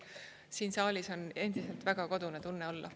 Siin saalis on endiselt väga kodune tunne olla.